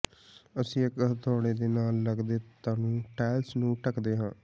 ਅਸੀਂ ਇਕ ਹਥੌੜੇ ਦੇ ਨਾਲ ਲਗਦੇ ਤੱਤਾਂ ਨੂੰ ਟਾਇਲਸ ਨੂੰ ਢੱਕਦੇ ਹਾਂ